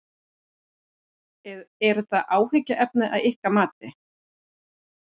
Er það áhyggjuefni að ykkar mati?